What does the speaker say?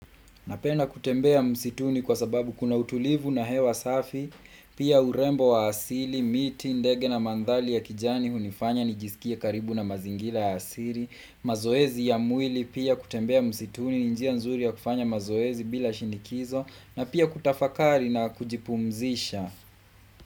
Napenda kutembea msituni kwa sababu kuna utulivu na hewa safi, pia urembo wa asili, miti, ndege na mandhari ya kijani, hunifanya nijisikie karibu na mazingira ya asili. Mazoezi ya mwili pia kutembea msituni, ni njia nzuri ya kufanya mazoezi bila shinikizo, na pia kutafakari na kujipumzisha.